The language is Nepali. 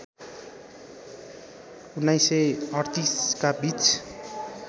१९३८ का बीच